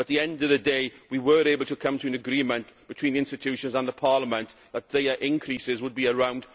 to be. At the end of the day we were able to come to an agreement between the institutions and Parliament that their increases would be around